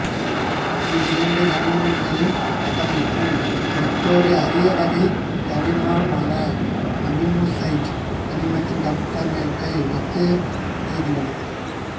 இவ்விரண்டு கனிமங்களின் கட்டமைப்பும் மற்றொரு அரியவகை கனிம்மான நபிமுசாயிட்டு கனிமத்தின் கட்டமைப்பை ஒத்து இருக்கின்றன